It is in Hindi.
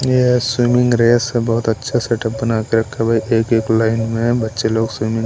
यह स्विमिंग रेस है बहुत अच्छा सेटअप बना के रखा हुआ है भाई एक एक लाइन में बच्चे लोग स्विमिंग --